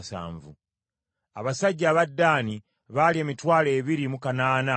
abasajja aba Ddaani baali emitwalo ebiri mu kanaana mu lukaaga;